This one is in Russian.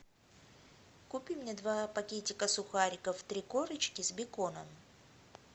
купи мне два пакетика сухариков три корочки с беконом